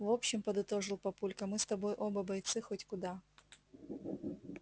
в общем подытожил папулька мы с тобой оба бойцы хоть куда